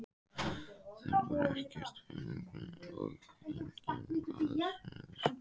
Þar var ekkert bankaútibú og enginn gagnfræðaskóli.